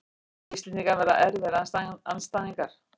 Íslendingar verða erfiðir andstæðingar